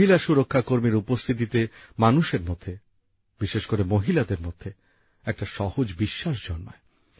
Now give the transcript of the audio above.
মহিলা সুরক্ষাকর্মীর উপস্থিতিতে মানুষের মধ্যে বিশেষ করে মহিলাদের মধ্যে একটা সহজ বিশ্বাস জন্মায়